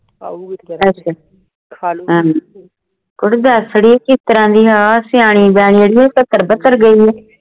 ਅਸ਼ਾ ਹਾਂ ਕੁੜੇ ਦੱਸ ਅੜੀਏ ਕਿਸ ਤਰ੍ਹਾਂ ਦੀ ਆ ਸਿਆਣੀ ਬਿਆਨੀ ਅੜੀਏ ਇਹ ਤੇ ਗਈ ਏ